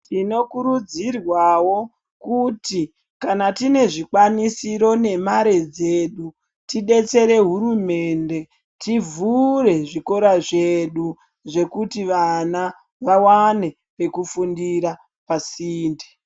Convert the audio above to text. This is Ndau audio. Tinokurudzirwawo kuti kana tine zvikwanisiro nemare dzedu tidetsere hurumende tivhure zvikora zvedu zvekuti vawane pefundira pasinde.